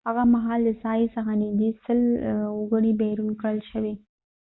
هغه مهال د ساحی څخه نږدې 100 سل وګړی بیرون کړل شول